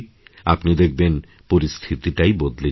আপনি দেখবেন পরিস্থিতিটাই বদলে যাবে